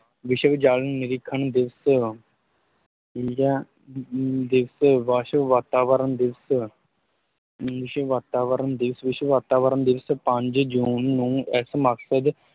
ਵਿਸ਼ਵ ਜਲ ਨਿਰੀਖਣ ਦਿਵਸ ਠੀਕ ਹੈ, ਅਮ ਦਿਵਸ਼ ਵਿਸ਼ਵ ਵਾਤਾਵਰਨ ਦਿਵਸ਼, ਵਿਸ਼ਵ ਵਾਤਾਵਰਨ ਦਿਵਸ਼, ਵਿਸ਼ਵ ਵਾਤਾਵਰਨ ਦਿਵਸ਼ ਪੰਜ ਜੂਨ ਨੂੰ ਇਸ ਮਕਸਦ